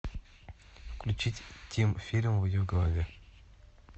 включить тим фильм в ее голове